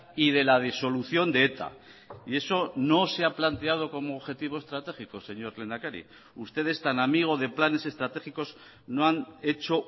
y de la disolución de eta y eso no se ha planteado como objetivo estratégico señor lehendakari ustedes tan amigo de planes estratégicos no han hecho